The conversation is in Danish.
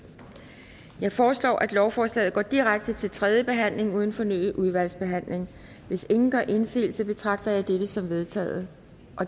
jeg foreslår at lovforslaget går direkte til tredje behandling uden fornyet udvalgsbehandling hvis ingen gør indsigelse betragter jeg dette som vedtaget